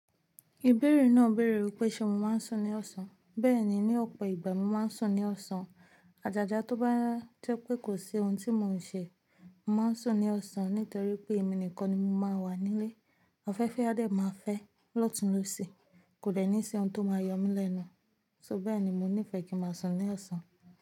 Ìbéèrè náà béèrè wípé ṣé mo máa ń sùn ní ọ̀sán. Bẹ́ẹ̀ni, ní ọ̀pọ̀ ìgbà mo máa ń sùn ní ọ̀sán. Àjàjà tó bá ti pé kò sí ohun tí mò ń ṣe, màá sùn ní ọ̀sán nítorí pé èmi nìkan ni mo máa ń wà nílé. Afẹ́fẹ́ adé máa fẹ́ lọ́tùn lọ́sì, kò dè ní ṣi ohun tó máa yọ mí lẹ́nu. So bẹ́ẹ̀ ni mo nífẹ̀ẹ́ kí màá sùn ní ọ̀sán.